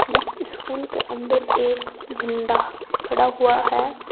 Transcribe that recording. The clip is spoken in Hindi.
जिस स्कूल के अंदर एक झंडा खड़ा हुआ है।